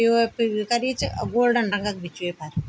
पी.ओ.पी भी करीं च अर गोल्डन रंग भी च वेफर।